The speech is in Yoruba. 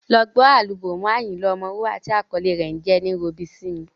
Lọ ọ gbọ́ álúbọ́ọ̀mù Ayinla Omowura tí àkọlé rẹ̀ jẹ́ “ ẹní robi sími”.